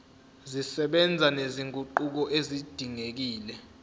zisebenza nezinguquko ezidingekile